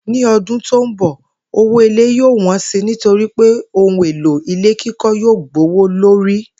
Ní o̩dũn tó ń bò̩, owó ilé yóò wó̩n si nítorí pé ohun èlò ilé kíkó̩ yóò gbówó lórí